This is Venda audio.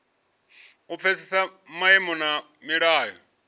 u pfesesa maimo na milayo